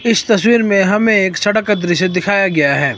इस तस्वीर में हमें एक सड़क का दृश्य दिखाया गया है।